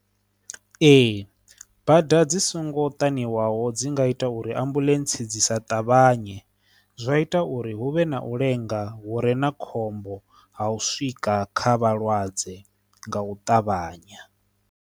Ee, bada dzi songo ṱanzwiwaho dzi nga ita uri ambuḽentse dzi sa ṱavhanye zwa ita uri hu vhe na u lenga wo re na khombo ha u swika kha vhalwadze nga u ṱavhanya.